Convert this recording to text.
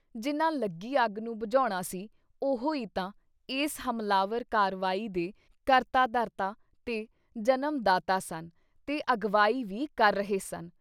ਜਿਨ੍ਹਾਂ ਲੱਗੀ ਅੱਗ ਨੂੰ ਬੁਝਾਉਣਾ ਸੀ, ਉਹੋ ਈ ਤਾਂ ਇਸ ਹਮਲਾਵਰ ਕਾਰਵਾਈ ਦੇ ਕਰਤਾ ਧਰਤਾ ਤੇ ਜਨਮ-ਦਾਤਾ ਸਨ ਤੇ ਅਗਵਾਈ ਵੀ ਕਰ ਰਹੇ ਸਨ।